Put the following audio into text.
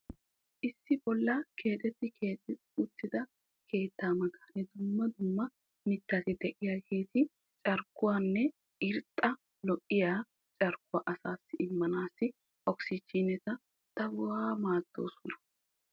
Issi bollan kexetti keexetti uttida keettaa matan dumma dumma mittati de'iyaageti carkkuwaanne irxxa lo"iyaa carkkuwaa asassi immanassi okisiijineta daruwaa maaddoosona.